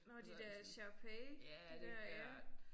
Nåh de der Shar Pei de der ja